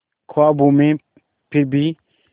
ख्वाबों में फिर भी